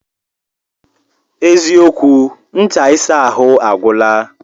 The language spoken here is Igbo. Eziokwu, ncha isa ahụ agwụla